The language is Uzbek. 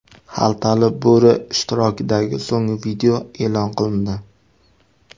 Xaltali bo‘ri ishtirokidagi so‘nggi video e’lon qilindi.